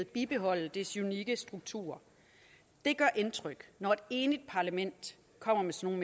bibeholde dets unikke struktur det gør indtryk når et enigt parlament kommer med sådan